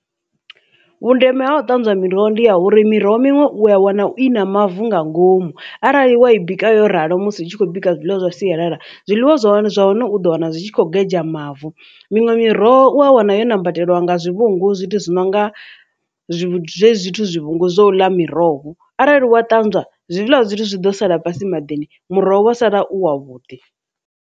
Vhundeme ha u ṱanzwa miroho ndi ya uri miroho miṅwe u a wana i na mavu nga ngomu arali wa i bika yo ralo musi hu tshi khou bika zwiḽiwa zwa sialala zwiḽiwa zwa hone zwa hone u ḓo wana zwi tshi kho gedzha mavu miṅwe miroho wa wana yo nambatela nga zwivhungu zwithu zwi nonga hezwi zwithu zwivhungu zwo ḽa miroho arali wa ṱanzwa he zwiḽa zwithu zwi ḓo sala fhasi maḓini muroho wa sala u wavhuḓi.